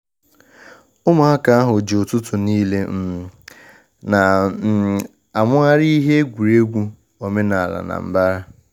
Ụmụaka ahu ji ututu n'ile um na um amughari ihe egwuregwu omenala na mbara